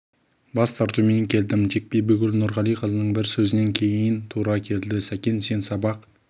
бас тартумен келдім тек бибігүл нұрғалиқызының бір сөзінен кейін көнуіме тура келді сәкен сен сабақ